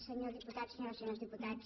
senyor diputat senyores i senyors diputats